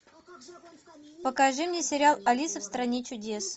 покажи мне сериал алиса в стране чудес